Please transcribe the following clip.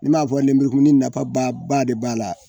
Na m'a lenburukumuni nafa ba de b'a la